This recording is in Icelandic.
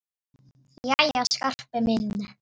Jæja, Skarpi minn.